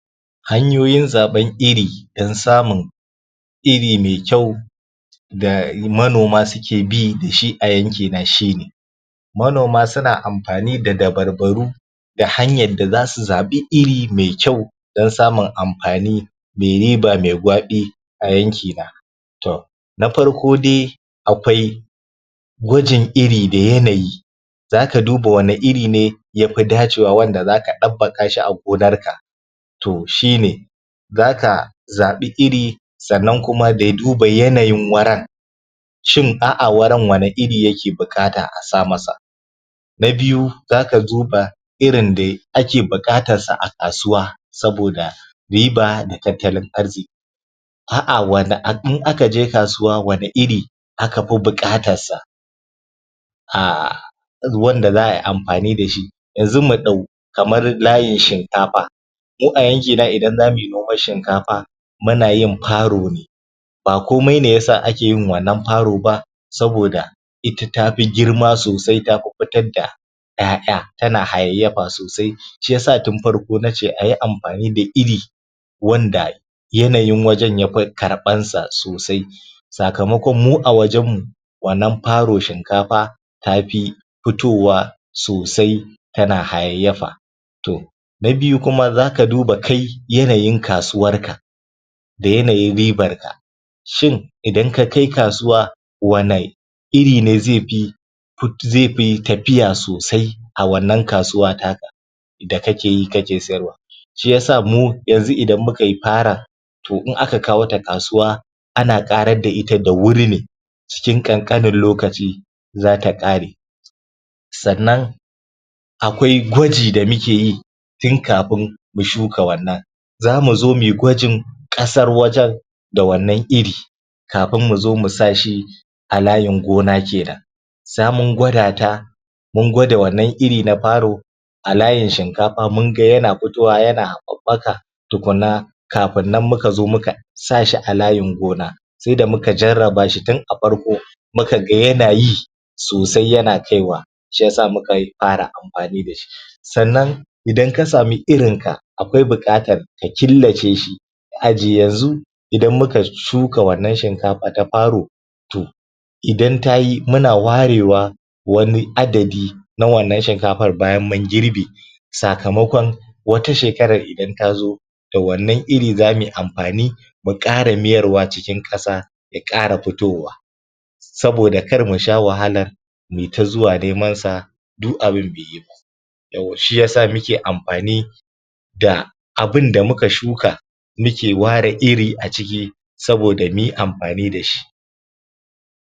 Hanyoyin Zaɓen iri don samun iri mai kyau da manoma suke bi da shi a yankina shine; Manoma suna amfani da dabarbaru, da hanyar da zasu zaɓi iri mai kyau don samun amfani me riba me gwaɓi a yankina. To na farko dai akwai, gwajin iri da yanayi zaka duba anne irine ya fi dacewa wanda zaka ɗabbaka shi a gonarka, to shine zaka zaɓi iri, sannan kuma da duba irin yanayin wurin shin a'a, wurin wanne iri yake bukata a sama masa? Na biyu, Zaka duba irin da ake buƙatarsa a kasuwa, saboda riba da tattalin arziƙi. A'a in aka je kasuwa wanne iri aka fi buƙatarsa? Aahhh wanda za ai amfani da shi, yanzu mu ɗau kamar layin shinkafa Ni a yanki na idan za muyi noman shinkafa muna yin farone ba kmai ne yasa ake yin wannan faro ba, saboda ita tafi girma sosai ta fi fitar da 'ya'ya, tanahayayyafa sosai shi yasa tun frko na ce ayi amfani da iri wanda yanayin wajen yafi karɓansa sosai sakamakon mu a wajen mu wannanFaro shinkafa ta fi, fitowa sosai tana hayayyafa. To, na Biyu kuma za ka duba kai yanayin kasuwarka, da yanayin ribarka, shin, idan ka kai kasuwa, wanne irine zai fi, zai fi tafiya sosai a wannan kasuwa ta ka da kakeyi kaje sayarwa shi ya sa mu yanzu ida muka yi Faron, to in aka kawo ta kasuwa, ana ƙarar da ita da wuri ne cikin ƙanƙanen lokaci za ta ƙare. Sannan, akwai gaji da muke yi tun kafin mu shuka wannan za mu zo mui gwajin ƙasar wajen, da wannan iri, kafin mu zo mu sa shi a layin gona kenan sai mun gwada ta mun gwada wannan iri na faro, a layin shinkafa mun ga yana fitowa yana haɓɓaka tukuna kafin kafin nan muka zo muka sa shi a layin gona. Sai da muka jarraba shi tun a farko, muka ga yana yi, sosai yana kaiwa shi yasa muka fara amfani da shi. Sannan, idan ka sami irinka akwai buƙatar ka killaceshi ka ajiye, yanzu idan muka shuka wannan shinkafa ta faro, to, idan tayi muna warewa, wani adadi na wannan shinkafar bayan mun girbe, sakamakon wata shekarar idan tazo da wannan iri za mu yi amfani, mu ƙara mayarwa cikin ƙasa ta ƙara fitowa. Saboda karmu sha wahalar mu yi ta zuwa nemansa du abun beyi ba. "Yawwa shi ya sa muke amfani da abunda muka shuka muke ware iri a ciki saboda muyi amfani da shi.